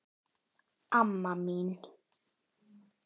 Amma mín.